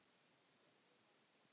Og meira en svo.